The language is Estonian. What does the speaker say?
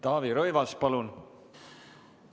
Taavi Rõivas, palun!